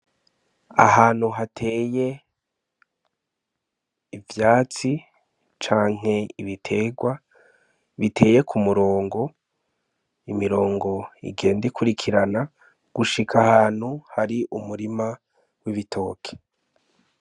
Ahantu hateye ivyatsi canke ibitegwa biteye k'umurongo , imirongo igenda ikurikirana gushika ahantu hari umurima w'ibitoki.